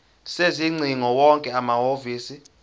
sezingcingo wonke amahhovisi